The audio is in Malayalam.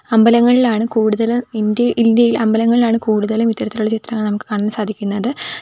അമ്പലങ്ങളിലാണ് കൂടുതലും ഇന്ത്യ ഇന്ത്യയിൽ അമ്പലങ്ങളിലാണ് കൂടുതലും ഇത്തരത്തിലുള്ള ചിത്രങ്ങൾ നമുക്ക് കാണാൻ സാധിക്കുന്നത്.